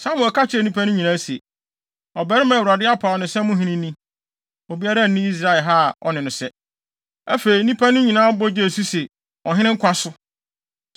Samuel ka kyerɛɛ nnipa no nyinaa se, “Ɔbarima a Awurade apaw no sɛ mo hene ni. Obiara nni Israel ha a ɔne no sɛ.” Afei, nnipa no nyinaa bɔ gyee so se, “Ɔhene nkwa so!”